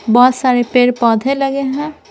बहुत सारे पेड़-पौधे लगे हैं।